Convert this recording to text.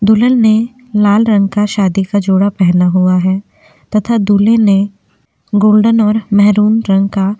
दुल्हन ने लाल रंग का शादी का जोड़ा पहना हुआ है तथा दूल्हे ने गोल्डन और मेहरून रंग का --